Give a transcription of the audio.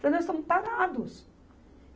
Porque nós estamos parados.